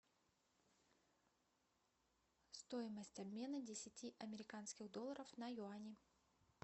стоимость обмена десяти американских долларов на юани